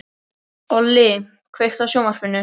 Olli, kveiktu á sjónvarpinu.